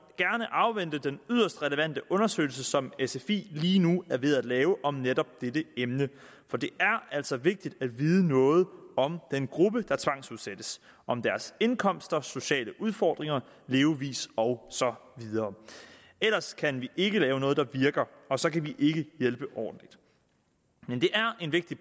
gerne afvente den yderst relevante undersøgelse som sfi lige nu er ved at lave om netop dette emne for det er altså vigtigt at vide noget om den gruppe der tvangsudsættes om deres indkomster sociale udfordringer levevis og så videre ellers kan vi ikke lave noget der virker og så kan vi ikke hjælpe ordentligt men det er en vigtig